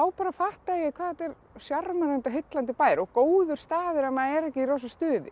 fattaði ég hvað þetta er sjarmerandi og heillandi bær og góður staður ef maður er ekki í rosa stuði